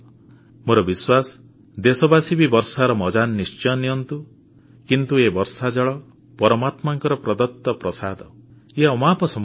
ମୋର ବିଶ୍ୱାସ ଦେଶବାସୀ ବି ବର୍ଷାର ମଜ୍ଜା ନିଶ୍ଚୟ ନିଅନ୍ତୁ କିନ୍ତୁ ଏ ବର୍ଷାଜଳ ପରମାତ୍ମାଙ୍କ ପ୍ରଦତ୍ତ ପ୍ରସାଦ ଇଏ ଅମାପ ସମ୍ପତ୍ତି